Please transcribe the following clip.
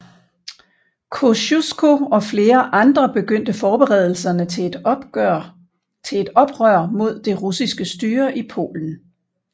Kościuszko og flere andre begyndte forberedelserne til et oprør mod det russiske styre i Polen